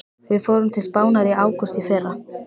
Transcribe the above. Við fórum til Spánar í ágúst í fyrra.